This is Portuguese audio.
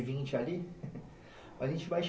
vinte a gente vai che